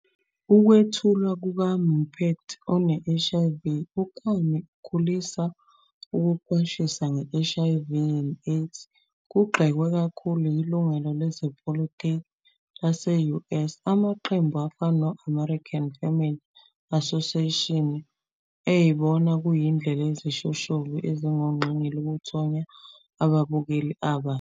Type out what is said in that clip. Ukwethulwa kukaMuppet one-HIV, uKami, ukukhulisa ukuqwashisa nge-HIV and AIDS kugxekwe kakhulu yilungelo lezepolitiki lase-US, amaqembu afana ne- American Family Association eyibona kuyindlela yezishoshovu ezingongqingili ukuthonya ababukeli abasha.